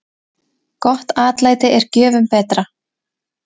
Gott atlæti er gjöfum betra.